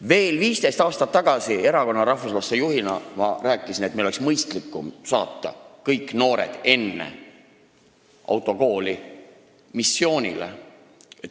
Ma rääkisin juba pea 15 aastat tagasi rahvuslaste ühenduse juhina, et meil oleks mõistlikum saata kõik noored enne autokooli missioonile.